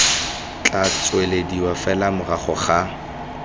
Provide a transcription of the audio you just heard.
tla tswelediwa fela morago ga